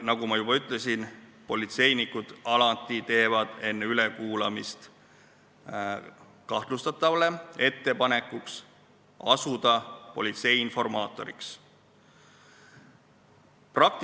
Nagu ma juba ütlesin, politseinikud teevad alati enne ülekuulamist kahtlustatavale ettepaneku asuda politsei informaatoriks.